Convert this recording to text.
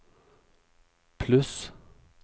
pluss